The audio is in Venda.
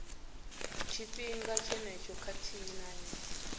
tshifhinga tshenetsho khathihi na nnyi